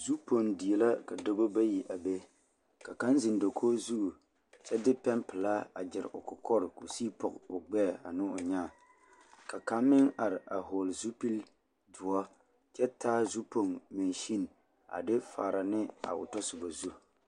Zupoɡe die la ka dɔbɔ bayi a be ka kaŋ zeŋ dakoɡi zu kyɛ de pɛmpelaa a ɡyere o kɔkɔreŋ ka o siɡi pɔɡe o ɡbɛɛ ne o nyaa ka kaŋ meŋ are a hɔɔle zupildoɔ kyɛ taa zupoɡe mansen a de fara ne a o tasoba zu.